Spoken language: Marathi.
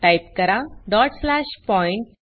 टाइप करा डॉट स्लॅश पॉइंट